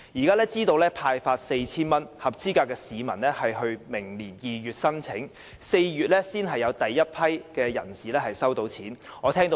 根據現時派發 4,000 元的安排，合資格的市民須在明年2月提出申請，並要到4月才有第一批人士可以取得款項。